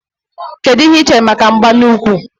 Kedụ ihe i chere maka mgba n'úkwù